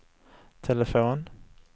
telefon